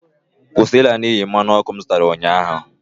Kwụsị ịla n'iyi mmanụ ọkụ m zụtara ụnyaahụ!